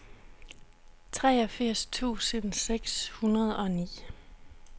treogfirs tusind seks hundrede og ni